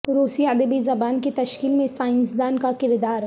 روسی ادبی زبان کی تشکیل میں سائنسدان کا کردار